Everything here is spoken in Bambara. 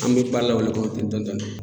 An mi ba la o de kɔnɔ ten dɔɔni dɔɔni